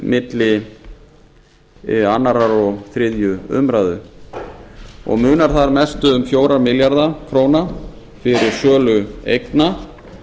milli annars og þriðju umræðu munar þar mest um fjóra milljarða króna fyrir sölu eigna